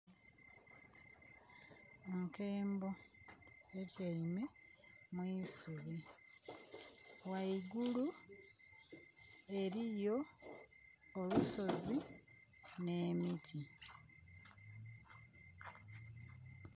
Enkembo etyaime mu isubi ghaigulu eliyo olusozi n'emiti.